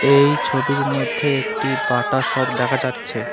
এই ছবির মধ্যে একটি বাটা শপ দেখা যাচ্ছে।